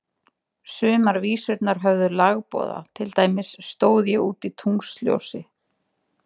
Sumar vísurnar höfðu lagboða, til dæmis Stóð ég úti í tunglsljósi.